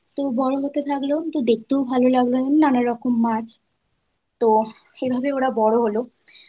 তো বড়ো হতে থাকলো তো দেখতেও ভাল লাগল নানা রকম মাছ। তো এভাবে ওরা বড়ো হোল।